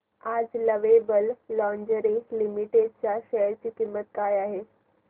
आज lovable lingerie limited च्या share ची किंमत किती आहे